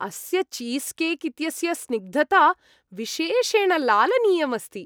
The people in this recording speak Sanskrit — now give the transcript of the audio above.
अस्य चीस्केक् इत्यस्य स्निग्धता विशेषेण लालनीयम् अस्ति।